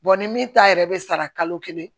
ni min ta yɛrɛ bɛ sara kalo kelen